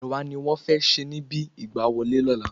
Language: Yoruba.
Ẹ̀wà ní wọn fẹ́ sè níbi ìgbà wọlé ọ̀la